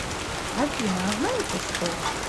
афина а знаете что